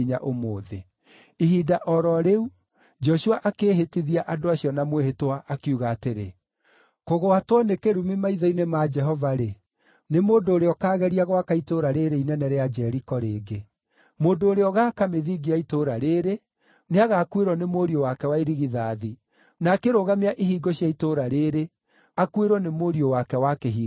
Ihinda o ro rĩu, Joshua akĩĩhĩtithia andũ acio na mwĩhĩtwa, akiuga atĩrĩ, “Kũgwatwo nĩ kĩrumi maitho-inĩ ma Jehova-rĩ, nĩ mũndũ ũrĩa ũkaageria gwaka itũũra rĩĩrĩ inene rĩa Jeriko rĩngĩ: “Mũndũ ũrĩa ũgaaka mĩthingi ya itũũra rĩĩrĩ, nĩagakuĩrwo nĩ mũriũ wake wa irigithathi; na akĩrũgamia ihingo cia itũũra rĩĩrĩ, akuĩrwo nĩ mũriũ wake wa kĩhinga-nda.”